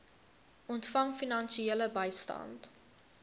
ontvang finansiële bystand